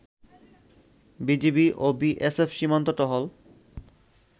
BGB ও BSF সীমান্ত টহল